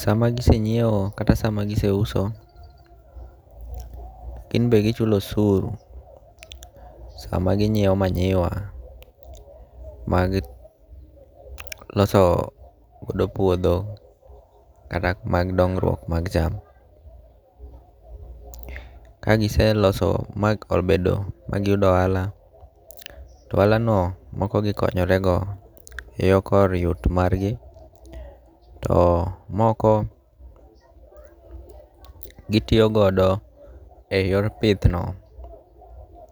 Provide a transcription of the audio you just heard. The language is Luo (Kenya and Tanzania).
Sama gisenyiew kata sama gise uso, gin be gichulo usuru sama ginyiew manyiwa magiloso godo puodho kata mag dongruok mag cham. Kagiselo ma obedo ma giyudo ohala. To ohala no moko gikonyore go e yo kor yut mar gi to moko gitiyogodo e yor pith no.